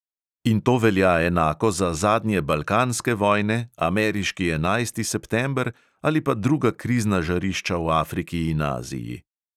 In to velja enako za zadnje balkanske vojne, ameriški enajsti september ali pa druga krizna žarišča v afriki in aziji.